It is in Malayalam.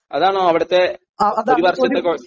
അതാണോ അവിടത്തെ ഒരു വർഷത്തെ കോഴ്സ്